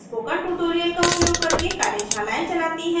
spoken tutorial का उपयोग करके कार्यशालाएं चलती है